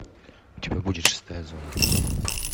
у тебя будет шестая зона